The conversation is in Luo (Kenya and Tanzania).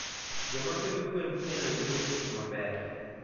jomapidho gwen pile yudo yuto maber